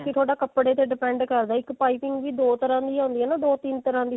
ਬਾਕੀ ਥੋਡਾ ਕੱਪੜੇ ਤੇ depend ਕਰਦਾ ਇੱਕ ਪਾਈਪਿੰਨ ਦੋ ਤਰ੍ਹਾਂ ਦੀ ਆਉਂਦੀ ਹੈ ਦੋ ਤਿੰਨ ਤਰ੍ਹਾਂ ਦੀ